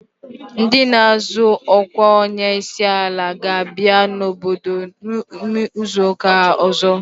Ndị na-azọ ọkwa onye isi ala ga-abịa n'obodo m izu ụka ọzọ.